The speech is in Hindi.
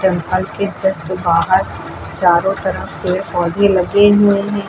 घर के जस्ट बाहर चारों तरफ पेड़ पौधे लगे हुए हैं।